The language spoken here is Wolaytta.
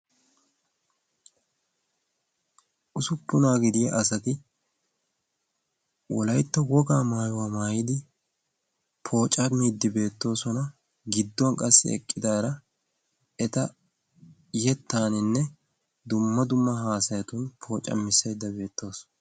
usuppunaa gidiya asati wolaitto wogaa maayuwaa maayidi pooca miiddibeettoosona gidduwan qassi eqqidaara eta yettaaninne dumma dumma haasayatun poocamissaydda beettowus.